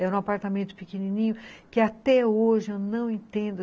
Era um apartamento pequenininho, que até hoje eu não entendo.